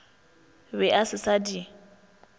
be a se sa di